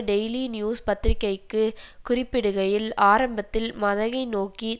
daily news பத்திரிகைக்கு குறிப்பிடுகையில் ஆரம்பத்தில் மதகை நோக்கி